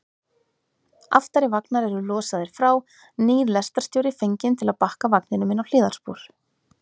Aftari vagnar eru losaðir frá, nýr lestarstjóri fenginn til að bakka vagninum inn á hliðarspor.